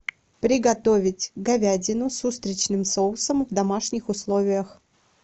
приготовить говядину с устричным соусом в домашних условиях